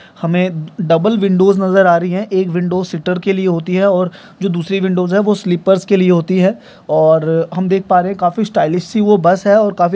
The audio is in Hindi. हमे डबल विंडोज़ नजर आ रही है एक विंडोज़ सिटर के लिए होती है और जो दूसरी विंडोज़ है वो स्लीपर्स के लिए होती है और हम देख पा रहे है काफी स्टाइलिश सी वो बस है और काफी